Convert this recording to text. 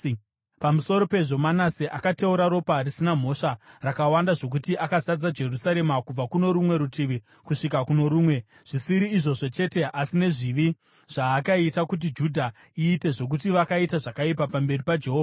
Pamusoro pezvo, Manase akateura ropa risina mhosva rakawanda zvokuti akazadza Jerusarema kubva kuno rumwe rutivi kusvika kuno rumwe, zvisiri izvozvo chete, asi nezvivi zvaakaita kuti Judha iite, zvokuti vakaita zvakaipa pamberi paJehovha.